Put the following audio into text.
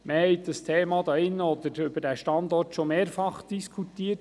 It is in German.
Wir hatten hier im Saal bereits mehrmals über diesen Standort diskutiert.